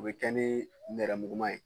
O bɛ kɛ ni nɛrɛmuguma ye.